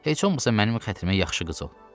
Heç olmasa mənim xətrimə yaxşı qız ol.